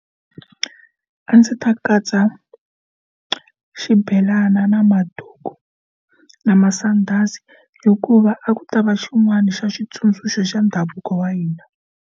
A ndzi ta katsa xibelana na maduku na masandhazi hikuva a ku ta va xin'wana xa xitsundzuxo xa ndhavuko wa hina.